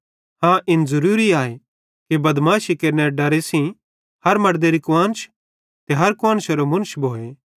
हाँ इन ज़रूरी आए कि बदमाशी केरनेरे डरे सेइं हर मड़देरी कुआन्श ते हर कुआन्शरो मुन्श भोए